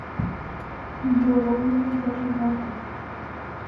боронина зажигалка